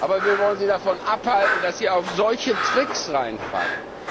Aber wir wollen sie davon abhalten, dass sie auf solche Tricks hereinfallen.